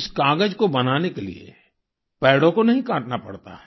इस कागज को बनाने के लिए पेड़ों को नहीं काटना पड़ता है